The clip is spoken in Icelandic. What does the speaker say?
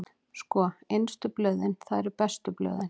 Sko, innstu blöðin, það eru bestu blöðin.